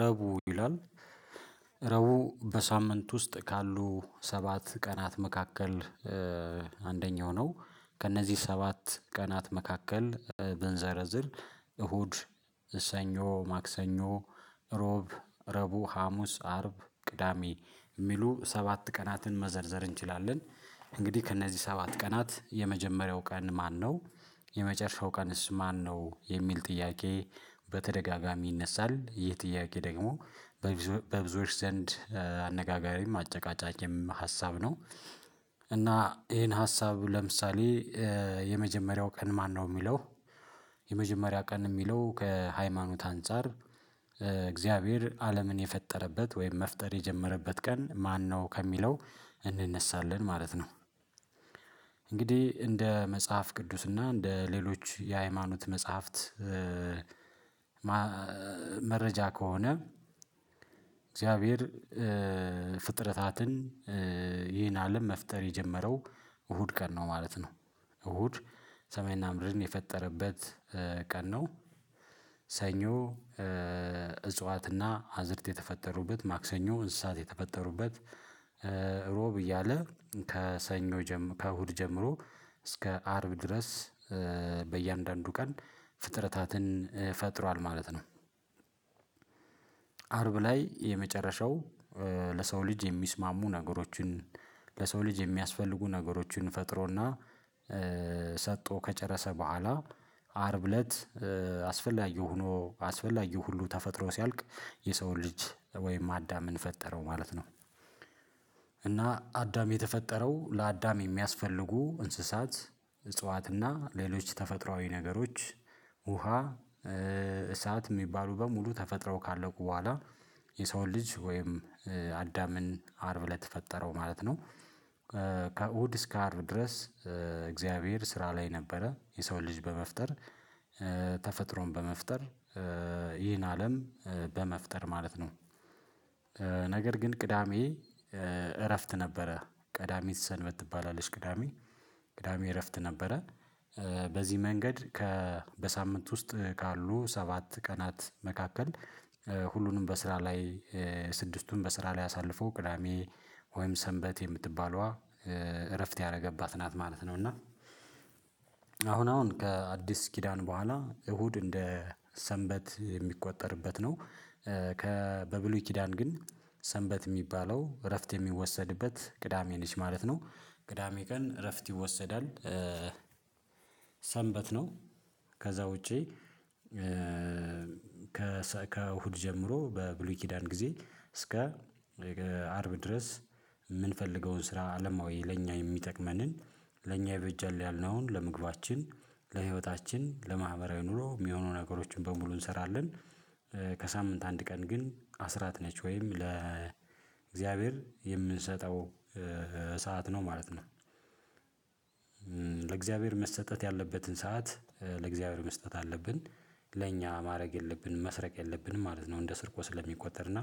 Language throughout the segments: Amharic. ረቡ ይላል ረቡ በሳምንት ውስጥ ካሉ ሰባት ቀናት መካከል አንደኛው ነው። ከእነዚህ ሰባት ቀናት መካከል ብንዘረዝር እሁድ እሰኞ ማክሰኞ ሮብ ረቡ ሀሙስ አርብ ቅዳሜ የሚሉ ሰባት ቀናትን መዘርዘር እንችላለን። እንግዲህ ከእነዚህ ሰባት ቀናት የመጀመሪያው ቀን ማነው? የመጨረሻው ቀንስ ማነው የሚል ጥያቄ በተደጋጋሚ ይነሳል። ይህ ጥያቄ ደግሞ በብዙዎች ዘንድ አነጋጋሪም አጨቃጫቂም ሀሳብ ነው። እና ይሄን ሀሳብ ለምሳሌ። የመጀመሪያው ቀን ማነው የሚለው? የመጀመሪያ ቀን የሚለው ከሃይማኖት አንፃር እግዚአብሔር አለምን የፈጠረበት ወይም መፍጠር የጀመረበት ቀን ማነው ከሚለው እንነሳለን ማለት ነው። እንግዲህ እንደ መጽሐፍ ቅዱስና እንደ ሌሎች የሃይማኖት መጽሐፍት። መረጃ ከሆነ። እግዚአብሔር ፍጥረታትን ይህን አለም መፍጠር የጀመረው እሁድ ቀን ነው ማለት ነው። እሁድ ሰማይና ምድርን የፈጠረበት ቀን ነው። ሰኞ እጽዋትና አዝርት የተፈጠሩበት ማክሰኞ እንስሳት የተፈጠሩበት ሮብ እያለ ከእሁድ ጀምሮ እስከ አርብ ድረስ በእያንዳንዱ ቀን ፍጥረታትን ፈጥሯል ማለት ነው። አርብ ላይ የመጨረሻው ለሰው ልጅ የሚስማሙ ነገሮችን ለሰው ልጅ የሚያስፈልጉ ነገሮችን ፈጥሮና ሰጥቶ ከጨረሰ በኋላ አርብ እለት አስፈላጊ ሆኖ አስፈላጊ ሁሉ ተፈጥሮ ሲያልቅ የሰውን ልጅ ወይም አዳምን ማለት ነው። እና አዳም የተፈጠረው ለአዳም የሚያስፈልጉ እንስሳት እጽዋትና ሌሎች ተፈጥሮአዊ ነገሮች ውሃ እሳት የሚባሉ በሙሉ ተፈጥረው ካለቁ በኋላ የሰውን ልጅ ወይም አዳምን አርብ ለተፈጠረው ማለት ነው። ከእሁድ እስከ አርብ ድረስ እግዚአብሔር ስራ ላይ ነበረ የሰው ልጅ በመፍጠር ተፈጥሮን በመፍጠር ይህን አለም በመፍጠር ማለት ነው። ነገር ግን ቅዳሜ እረፍት ነበረ ቀዳሚ ሰንበት ትባላለች ቅዳሜ ቅዳሜ እረፍት ነበረ። በዚህ መንገድ ከ በሳምንት ውስጥ ካሉ ሰባት ቀናት መካከል ሁሉንም በስራ ላይ ስድስቱን በስራ ላይ አሳልፎ ቅዳሜ ወይም ሰንበት የምትባለዋ እረፍት ያደረገባት ናት ማለት ነው። እና አሁን አሁን ከአዲስ ኪዳን በኋላ እሁድ እንደ ሰንበት የሚቆጠርበት ነው። በብሉይ ኪዳን ግን ሰንበት የሚባለው እረፍት የሚወሰድበት ቅዳሜ ነች ማለት ነው። ቅዳሜ ቀን እረፍት ይወሰዳል። ሰንበት ነው ከዛ ውጪ ከእሁድ ጀምሮ በብሉይ ኪዳን ጊዜ እስከ አርብ ድረስ የምንፈልገውን ስራ አለማዊ ለእኛ የሚጠቅመንን ለእኛ የበጃል ያልነውን ለምግባችን ለህይወታችን ለማህበራዊ ኑሮ የሚሆኑ ነገሮችን በሙሉ እንሰራለን። ከሳምንት አንድ ቀን ግን አስራት ነች ወይም ለእግዚአብሔር የምንሰጠው ሰዓት ነው ማለት ነው። ለእግዚአብሔር መስጠት ያለበትን ሰዓት ለእግዚአብሔር መስጠት አለብን ለእኛ ማድረግ የለብንም መስረቅ የለብንም ማለት ነው። እንደ ስርቆ ስለሚቆጠር እና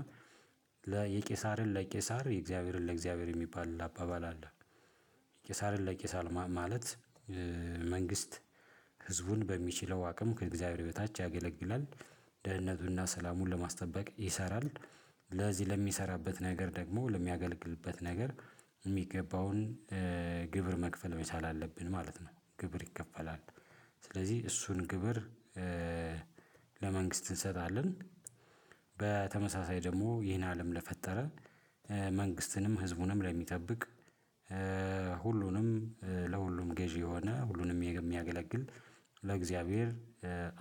ለቄሳርን ለቄሳር የእግዚአብሔርን ለእግዚአብሔር የሚባል አባባል አለ። ቄሳርን ለቄሳርን ማለት መንግስት ህዝቡን በሚችለው አቅም ከእግዚአብሔር በታች ያገለግላል ደህንነቱና ሰላሙን ለማስጠበቅ ይሰራል። ለዚህ ለሚሰራበት ነገር ደግሞ ለሚያገልግልበት ነገር የሚገባውን ግብር መክፈል ወይስ አላለብንም ማለት ነው። ግብር ይከፈላል ስለዚህ እሱን ግብር ለመንግስት እንሰጣለን። በተመሳሳይ ደግሞ ይሄን አለም ለፈጠረ መንግስትንም ህዝቡንም ለሚጠብቅ ሁሉንም ለሁሉም ገዢ የሆነ ሁሉንም የሚያገለግል ለእግዚአብሔር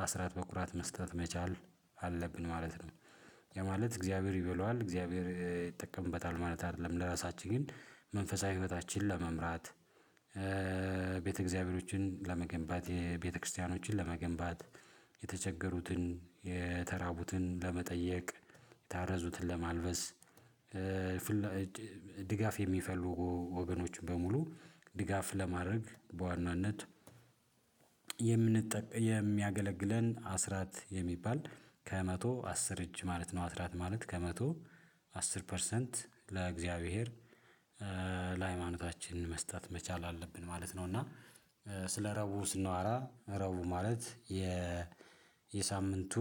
አስራት በኩራት መስጠት መቻል አለብን ማለት ነው። የማለት እግዚአብሔር ይበላዋል እግዚአብሔር ይጠቀምበታል ማለት አይደለም። ለራሳችን ግን መንፈሳዊ ህይወታችንን ለመምራት ቤተ እግዚአብሔሮችን ለመገንባት የቤተክርስቲያኖችን ለመገንባት የተቸገሩትን የተራቡትን ለመጠየቅ የታረዙትን ለማልበስ። ድጋፍ የሚፈሉ ወገኖች በሙሉ ድጋፍ ለማድረግ በዋናነት የሚያገለግለን አስራት የሚባል ከመቶ አስር እጅ ማለት ነው። አስራት ማለት ከመቶ አስር ፐርሰንት ለእግዚአብሔር ለሃይማኖታችን መስጠት መቻል አለብን ማለት ነው። እና ስለ ረቡ ስናወራ ረቡ ማለት የ የሳምንቱ